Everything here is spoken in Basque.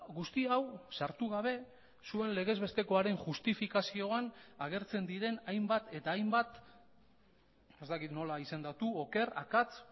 guzti hau sartu gabe zuen legez bestekoaren justifikazioan agertzen diren hainbat eta hainbat ez dakit nola izendatu oker akats